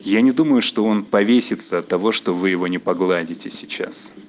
я не думаю что он повесится от того что вы его не погладите сейчас